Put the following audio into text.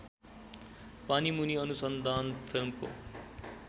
पानीमुनि अनुसन्धान फिल्मको